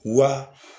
Wa